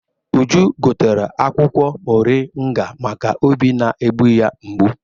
Uju gotere akwụkwọ moringa maka obi na-egbu ya mgbu.